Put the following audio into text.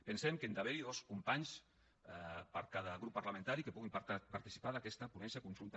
pensem que han d’haver hi dos companys per cada grup parlamentari que puguin participar d’aquesta ponència conjunta